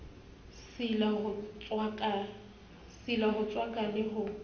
sila ho tswaka le ho